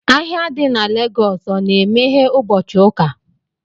Ahịa di na Lagos o na-emeghe ụbọchị ụka